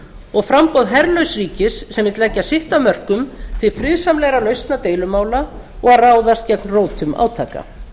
og framboð herlauss ríkis sem vill leggja sitt af mörkum til friðsamlegra lausna deilumála og að ráðast gegn rótum átaka